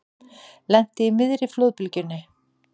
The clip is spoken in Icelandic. Lenti í miðri flóðbylgjunni